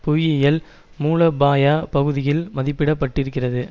புவியியல் மூலோபாய பகுதியில் மதிப்பிட பட்டிருக்கிறது